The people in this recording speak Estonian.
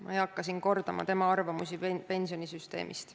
Ma ei hakka siin kordama tema arvamusi pensionisüsteemist.